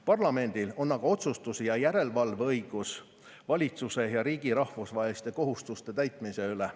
Parlamendil on aga otsustus- ja järelevalveõigus valitsuse ja riigi rahvusvaheliste kohustuste täitmise üle.